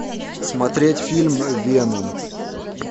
смотреть фильм веном